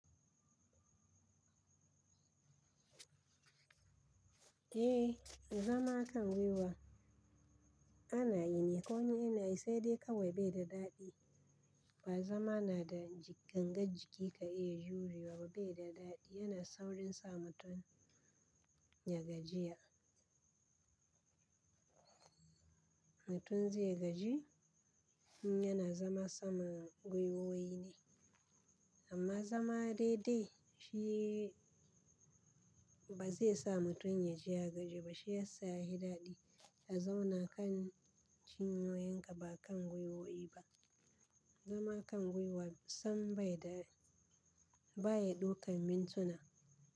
Eh, zama kan gwiwa ana yi ne koni ina yi sai dai kawai bai da daɗi. Ba zama na da ji ganga jiki ka iya jurewa ba, bai da daɗi. Yana saurin sa mutum ya gajiya. Mutum zai gaji in yana zama sama gwiwoyi ne. Amma zama daidai shi ba zai sa mutum ya ji ya gaji ba shi ya sa ya hi daɗi. A zauna kan cin ypyin ka ba kan gwiwoyi ba. Zama a kan gwiwa sam bai da, baya ɗaukan mintuna.